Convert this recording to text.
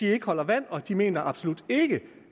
har ikke holder vand de mener absolut ikke